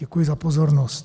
Děkuji za pozornost.